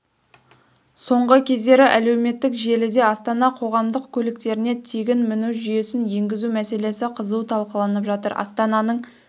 соңғы кездері әлеуметтік желіде астана қоғамдық көліктеріне тегін міну жүйесін енгізу мәселесі қызу талқыланып жатыр астананың